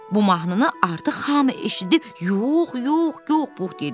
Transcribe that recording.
Bu mahnını artıq hamı eşidib, yox, yox, yox, Pux dedi.